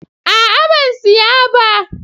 A'a ban siya ba.